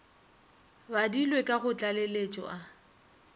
badilwe ka go tlaleletšo a